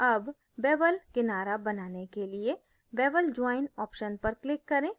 अब bevel किनारा बनाने के लिए bevel join option पर click करें